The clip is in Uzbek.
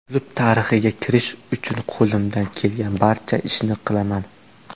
Klub tarixiga kirish uchun qo‘limdan kelgan barcha ishni qilaman.